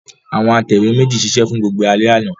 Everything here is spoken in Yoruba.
Àwọn atẹ̀wé méjì ṣiṣẹ́ fún gbogbo alẹ́ àná.